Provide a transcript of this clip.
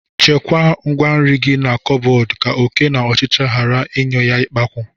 Chekwaa ngwaa nri gị na kọbọd ka oké na ọchịchị ghara ịnyụ ya ikpakwu.